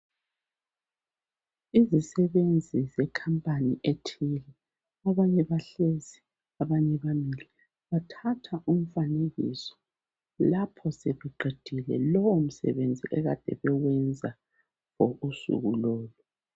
Izisebenzi zekhampani ethile abanye bahlezi abanye bamile bathathwa umfanekiso lapho sebeqedile lowo msebenzi ekade bewenza ngosuku lolo.